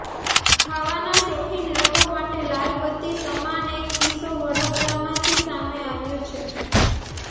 ખાવાના શોખીન લોકો માટે લાલબત્તી સમાન એક કિસ્સો વડોદરામાંથી સામે આવ્યો છે